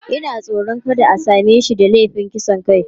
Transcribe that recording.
Ina tsoron kada a same shi da laifin kisan kai.